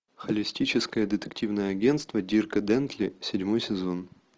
холистическое детективное агентство дирка джентли седьмой сезон